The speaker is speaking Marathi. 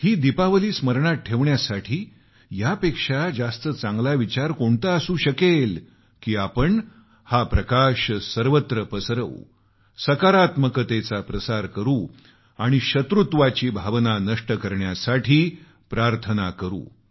ही दीपावली स्मरणात ठेवण्यासाठी यापेक्षा जास्त चांगला विचार काय असू शकेल की आपण प्रकाश सर्वत्र फैलावू सकारात्मकतेचा प्रसार करू आणि शत्रुत्वाची भावना नष्ट करण्यासाठी प्रार्थना करू या